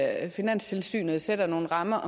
at finanstilsynet sætter nogle rammer